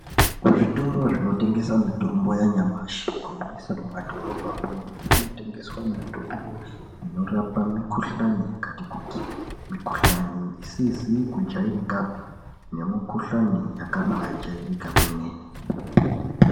Kuzvitoro zvinotengesa mitombo yanyamashi kunyanyisa mumadhorobhamwo kunotengeswa mitombo inorape mikhuhlane yakati kuti, mikhuhlane isizi kujairika pi nemikhuhlane yakabaajairika kwemene.